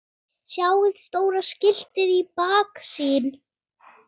Sjáið stóra skiltið í baksýn.